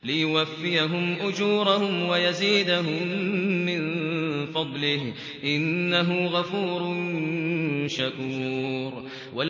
لِيُوَفِّيَهُمْ أُجُورَهُمْ وَيَزِيدَهُم مِّن فَضْلِهِ ۚ إِنَّهُ غَفُورٌ شَكُورٌ